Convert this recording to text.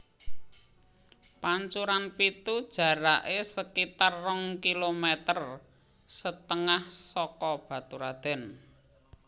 Pancuran Pitu jaraké sekitar rong kilometer setengah saka Baturadèn